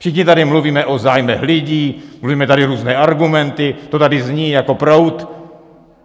Všichni tady mluvíme o zájmech lidí, mluvíme tady různé argumenty, to tady zní jako proud.